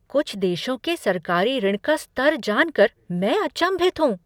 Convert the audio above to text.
कुछ देशों के सरकारी ऋण का स्तर जान कर मैं अचंभित हूँ।